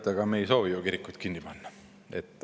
Teate, me ei soovi kirikuid kinni panna.